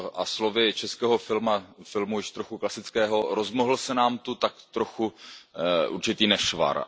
Slovy českého filmu, již trochu klasického Rozmohl se nám tu tak trochu určitý nešvar.